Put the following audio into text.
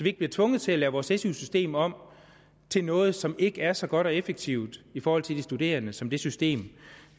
ikke bliver tvunget til at lave vores su system om til noget som ikke er så godt og effektivt i forhold til de studerende som det system